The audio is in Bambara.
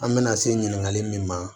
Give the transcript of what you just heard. An bɛna se ɲininkali min ma